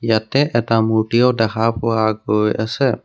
ইয়াতে এটা মূৰ্তিও দেখা পোৱা গৈ আছে।